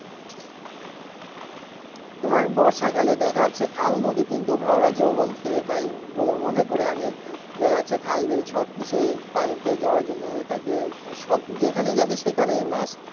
তোমার বর্ষাকালে দেখা যাচ্ছে খাল নদী কিন্তু ভরা যৌবন ফিরে পায় বলে মনে করি আমি দেখা যাচ্ছে খালবিল সবকিছুই পানিতে জরাজীর্ণ হয়ে থাকে সব যেখানে যাবে সেখানেই মাছ